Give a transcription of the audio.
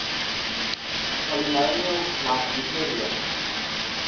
polynomials like euclidean